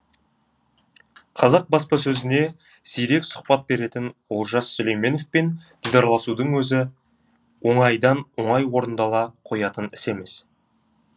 қазақ баспасөзіне сирек сұхбат беретін олжас сүлейменовпен дидарласудың өзі оңайдан оңай орындала қоятын іс емес